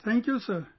Thank you sir